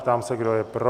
Ptám se, kdo je pro?